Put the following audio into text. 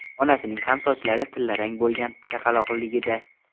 Onasining ham sochlari tillarang bo‘lgan chaqaloqligida.